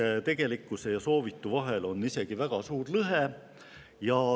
Ehk siis tegelikkuse ja soovitu vahel on isegi väga suur lõhe.